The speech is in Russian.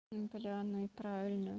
бля ну и правильно